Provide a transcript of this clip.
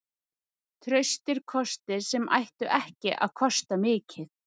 Traustir kostir sem ættu ekki að kosta mikið.